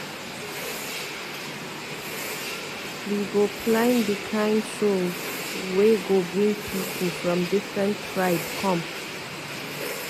We go plan di kind show wey go bring pipu from different tribe come.